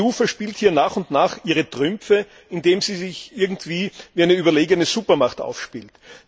Die EU verspielt hier nach und nach ihre Trümpfe, indem sie sich irgendwie wie eine überlegene Supermacht aufspielt.